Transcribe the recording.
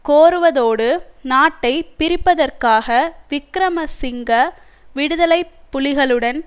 கோருவதோடு நாட்டை பிரிப்பதற்காக விக்கிரமசிங்க விடுதலை புலிகளுடன்